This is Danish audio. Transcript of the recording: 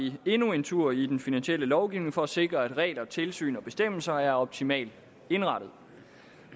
vi endnu en tur i den finansielle lovgivning for at sikre at regler tilsyn og bestemmelser er optimalt indrettet